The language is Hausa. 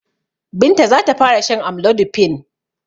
Binta za ta fara shan amlodipine.